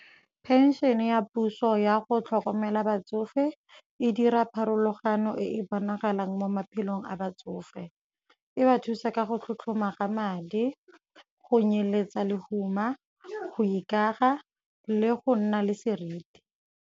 Phenšene ya puso ya go tlhokomela batsofe e dira pharologano e e bonagalang mo maphelong a batsofe, e ba thusa ka go tlhotlhoma ga madi, go nyeletsa lehuma, go ikaga le go nna le seriti.